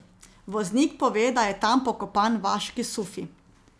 Voznik pove, da je tam pokopan vaški sufi.